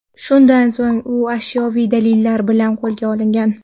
Shundan so‘ng u ashyoviy dalillar bilan qo‘lga olingan.